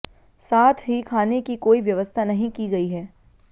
साथ ही खाने की कोई व्यवस्था नहीं की गई है